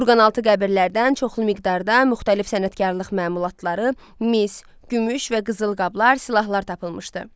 Kurqaltı qəbirlərdən çoxlu miqdarda müxtəlif sənətkarlıq məmulatları, mis, gümüş və qızıl qablar, silahlar tapılmışdı.